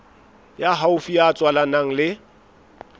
ya haufi ya tswalanang le